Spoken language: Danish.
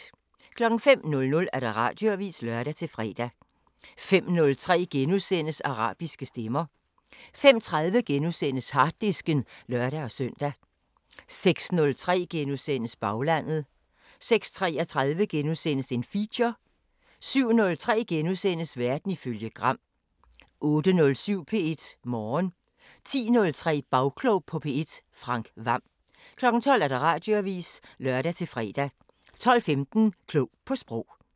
05:00: Radioavisen (lør-fre) 05:03: Arabiske Stemmer * 05:30: Harddisken *(lør-søn) 06:03: Baglandet * 06:33: Feature * 07:03: Verden ifølge Gram * 08:07: P1 Morgen 10:03: Bagklog på P1: Frank Hvam 12:00: Radioavisen (lør-fre) 12:15: Klog på Sprog